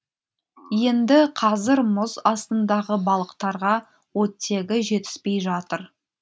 енді қазір мұз астындағы балықтарға оттегі жетіспей жатыр